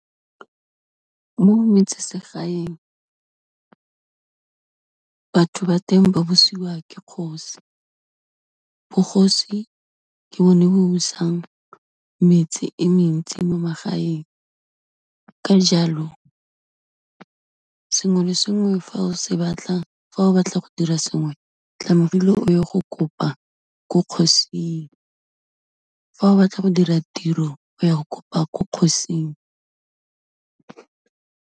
Mo metsesegaeng, batho ba teng ba busiwa ke kgosi, bogosi ke bone bo bo busang metsi e mentsi mo magaeng, ka jalo sengwe le sengwe, fa o se batla, fa o batla go dira sengwe tlamehile o ye go kopa ko kgosing, fa o batla go dira tiro, o ya go kopa ko kgosing.